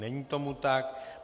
Není tomu tak.